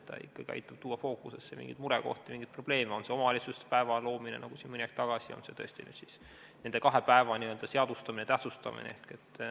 See ikkagi aitab tuua fookusesse mingeid murekohti, mingeid probleeme, on see siis omavalitsuste päeva loomine, nagu mõni aeg tagasi oli, või on see nende kahe päeva n-ö seadustamine, tähtsustamine.